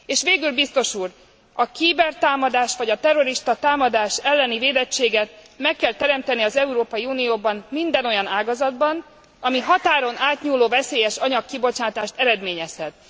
És végül, biztos úr, a cybertámadás vagy a terroristatámadás elleni védettséget meg kell teremteni az Európai Unióban minden olyan ágazatban, ami határon átnyúló veszélyesanyag kibocsátást eredményezhet.